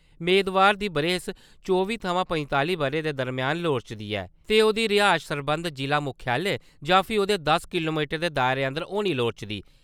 मेदवार दी बरेस चौबी थमां पंजताली ब'रें दे दरम्यान लोड़चदी ऐ ते ओह्दी रिहायश सरबंधत जिला मुक्खालय जां फ्ही ओह्दे दस किलोमीटर दे दायरे अंदर होनी लोड़चदी।